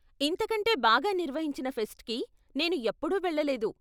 ఇంతకంటే బాగా నిర్వహించిన ఫెస్ట్కి నేను ఎప్పుడూ వెళ్ళలేదు.